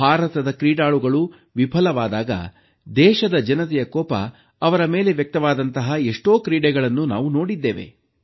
ಭಾರತದ ಕ್ರೀಡಾಳುಗಳು ವಿಫಲವಾದಾಗ ದೇಶದ ಜನತೆಯ ಕೋಪ ಅವರ ಮೇಲೆ ವ್ಯಕ್ತವಾದಂತಹ ಎಷ್ಟೋ ಕ್ರೀಡೆಗಳನ್ನು ನಾವು ನೋಡಿದ್ದೇವೆ